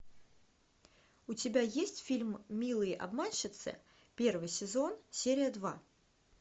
у тебя есть фильм милые обманщицы первый сезон серия два